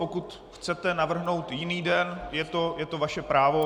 Pokud chcete navrhnout jiný den, je to vaše právo.